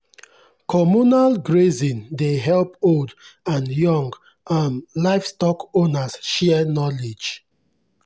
communal grazing dey help old and young um livestock owners share knowledge.